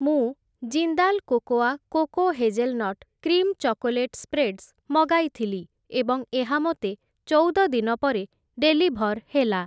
ମୁଁ Jindal cocoa coco hazelnut cream chocolate spreads ମଗାଇଥିଲି ଏବଂ ଏହା ମୋତେ ଚଉଦ ଦିନ ପରେ ଡେଲିଭର୍ ହେଲା ।